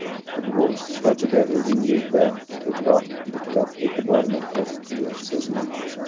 Futbolchi sifatida o‘zingizda ko‘proq diqqat-e’tiborni his qilyapsizmi?